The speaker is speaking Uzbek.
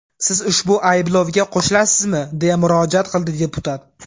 Siz ushbu ayblovga qo‘shilasizmi?” deya murojaat qildi deputat.